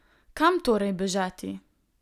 Kam torej bežati?